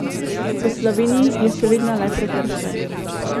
V Sloveniji je še vedno le prekršek.